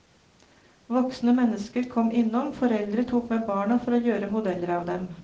Voksne mennesker kom innom, foreldre tok med barna for å gjøre modeller av dem.